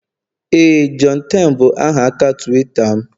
Éè, johnten bụ aha aka Tuweeta m